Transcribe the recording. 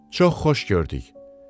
Çox xoş gördük.